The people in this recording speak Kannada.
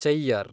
ಚೆಯ್ಯರ್